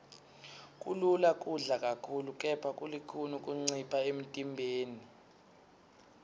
kulula kudla kakhulu kepha kulukhuni kuncipha emntimbeni